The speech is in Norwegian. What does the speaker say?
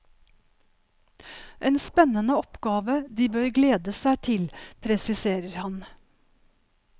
En spennende oppgave de bør glede seg til, presiserer han.